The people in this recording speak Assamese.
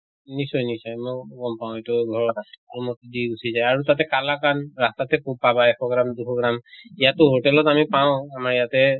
নিশ্চয় নিশ্চয় মই গম পাওঁ এইটো ধৰা দি গুছি যায় আৰু তাতে কালাকান্দ ৰাস্তা তে খুব পাবা এশ gram দুশ gram। ইয়াতো hotel আমি পাওঁ আমাৰ ইয়াতে